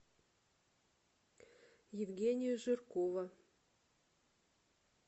евгения жиркова